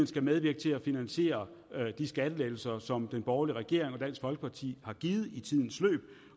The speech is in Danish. skal medvirke til at finansiere de skattelettelser som den borgerlige regering og dansk folkeparti har givet i tidens løb